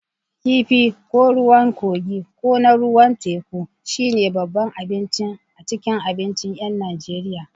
Kifi, ko ruwan kogii ko na ruwa teku, shine babban abinci a cikin abincin 'yan Najeriya.